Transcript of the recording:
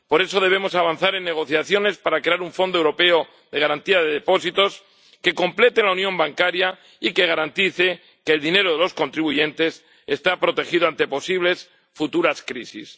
Por eso debemos avanzar en las negociaciones para crear un Fondo Europeo de Garantía de Depósitos que complete la unión bancaria y que garantice que el dinero de los contribuyentes esté protegido ante posibles futuras crisis.